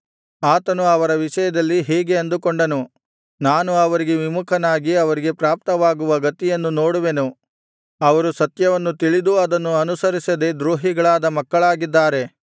ಆತನು ಅವರ ವಿಷಯದಲ್ಲಿ ಹೀಗೆ ಅಂದುಕೊಂಡನು ನಾನು ಅವರಿಗೆ ವಿಮುಖನಾಗಿ ಅವರಿಗೆ ಪ್ರಾಪ್ತವಾಗುವ ಗತಿಯನ್ನು ನೋಡುವೆನು ಅವರು ಸತ್ಯವನ್ನು ತಿಳಿದೂ ಅದನ್ನು ಅನುಸರಿಸದೆ ದ್ರೋಹಿಗಳಾದ ಮಕ್ಕಳಾಗಿದ್ದಾರೆ